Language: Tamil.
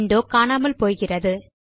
விண்டோ காணாமல் போகிறது